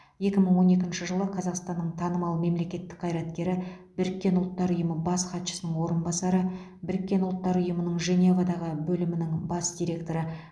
екі мың он екінші жылы қазақстанның танымал мемлекеттік қайраткері біріккен ұлттар ұйымы бас хатшысының орынбасары біріккен ұлттар ұйымының женевадағы бөлімінің бас директоры